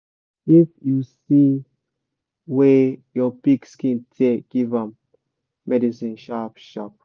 if you see wer your pig skin tear give am medicine sharp sharp